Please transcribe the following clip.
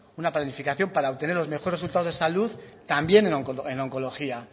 una planificación para obtener los mejores resultados de salud también en oncología